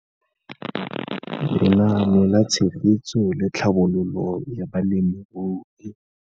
Lenaane la Tshegetso le Tlhabololo ya Balemirui.